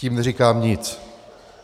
Tím neříkám nic.